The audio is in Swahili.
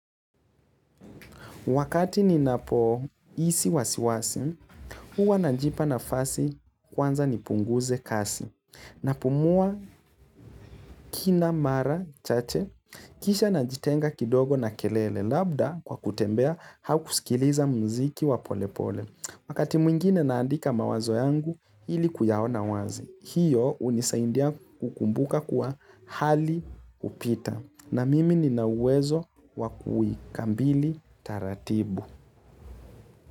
Wakati ninapo isi wasiwasi, huwa najipa nafasi kwanza nipunguze kasi. Napumua kina mara chache, kisha najitenga kidogo na kelele labda kwa kutembea hau kusikiliza mziki wapolepole. Wakati mwingine naandika mawazo yangu ili kuyaona wazi. Hiyo unisaindia kukumbuka kuwa hali hupita. Na mimi nina uwezo wakuikambili taratibu.